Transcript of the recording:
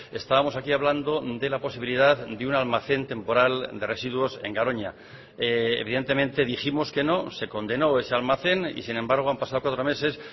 estábamos aquí hablando de la posibilidad de un almacén temporal de residuos en garoña evidentemente dijimos que no se condenó ese almacén y sin embargo han pasado cuatro meses